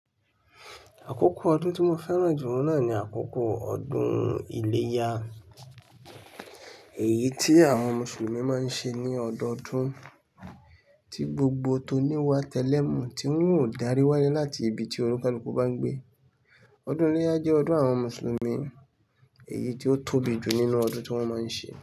Àkókò ọdún tí mo fẹ́ràn jù oun náà ni àkókò ọdún iléyá. Èyí tí àwọn Mùsùlùmí máa ń ṣe ní ọdọọdún, tí gbogbo tó ní wá tẹ́lẹ̀ mú, tí won ò dárí wálé láti ibi tí onikaluku bá n gbé. Ọdún iléyá jẹ́ ọdún àwọn Mùsùlùmí, èyí tí ó tóbi jù nínú ọdún tí wọ́n máa ń ṣe.